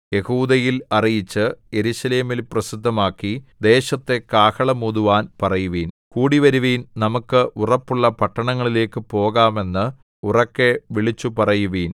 യെഹൂദയിൽ അറിയിച്ച് യെരൂശലേമിൽ പ്രസിദ്ധമാക്കി ദേശത്തു കാഹളം ഊതുവാൻ പറയുവിൻ കൂടിവരുവിൻ നമുക്ക് ഉറപ്പുള്ള പട്ടണങ്ങളിലേക്ക് പോകാം എന്ന് ഉറക്കെ വിളിച്ചുപറയുവിൻ